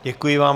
Děkuji vám.